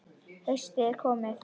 Haustið er komið.